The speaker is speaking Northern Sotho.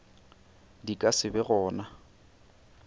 di ka se be gona